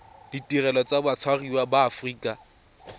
ditirelo tsa batshwariwa ba aforika